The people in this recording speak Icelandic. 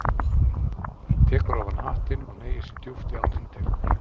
Hann tekur ofan hattinn og hneigir sig djúpt í áttina til hennar.